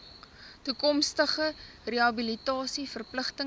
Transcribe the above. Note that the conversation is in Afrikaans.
toekomstige rehabilitasie verpligtinge